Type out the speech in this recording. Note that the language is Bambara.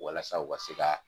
Walasa u ka se ka